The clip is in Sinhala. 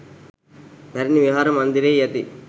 පැරණි විහාර මන්දිරයෙහි ඇති